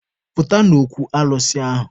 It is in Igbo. Pụta n'okwu alụsị ahụ!